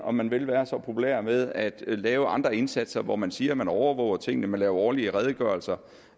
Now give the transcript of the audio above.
om man vil være så populær med at lave andre indsatser hvor man siger at man overvåger tingene man laver årlige redegørelser